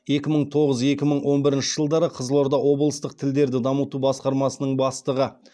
екі мың тоғыз екі мың он бірінші жылдары қызылорда облыстық тілдерді дамыту басқармасының бастығы